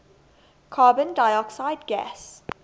carbon dioxide gas